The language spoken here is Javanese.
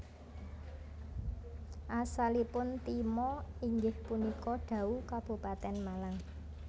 Asalipun Timo inggih punika Dau Kabupaten Malang